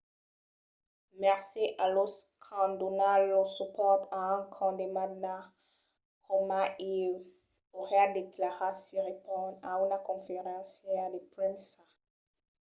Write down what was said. "mercés a los qu'an donat lor supòrt a un condemnada coma ieu, auriá declarat siriporn a una conferéncia de premsa